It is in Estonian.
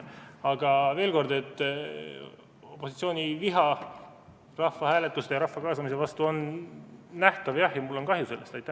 Aga veel kord: opositsiooni viha rahvahääletuse ja rahva kaasamise vastu on nähtav, jah, ja mul on sellest kahju.